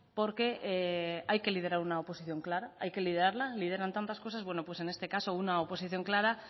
porque hay que liderar una oposición clara hay que liderarla lideran tantas cosas bueno pues en este caso una oposición clara